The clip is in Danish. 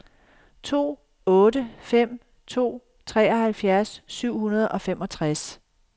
to otte fem to treoghalvfjerds syv hundrede og femogtres